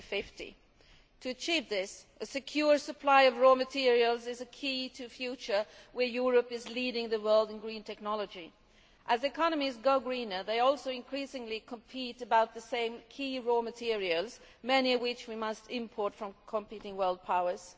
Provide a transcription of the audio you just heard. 2050. To achieve this, a secure supply of raw materials is the key to a future where Europe leads the world in green technology. As economies go greener they also increasingly compete for the same key raw materials, many of which we must import from competing world powers.